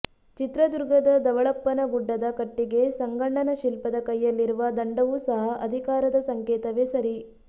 ಚಿತ್ರದುರ್ಗದ ದವಳಪ್ಪನ ಗುಡ್ಡದ ಕಟ್ಟಿಗೆ ಸಂಗಣ್ಣನ ಶಿಲ್ಪದ ಕೈಯಲ್ಲಿರುವ ದಂಡವೂ ಸಹ ಅಧಿಕಾರದ ಸಂಕೇತವೇ ಸರಿ